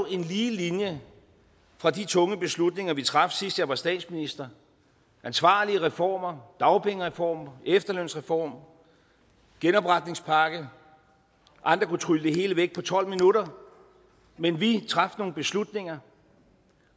en lige linje fra de tunge beslutninger vi traf sidst jeg var statsminister ansvarlige reformer dagpengereform efterlønsreform genopretningspakke andre kunne trylle det hele væk på tolv minutter men vi traf nogle beslutninger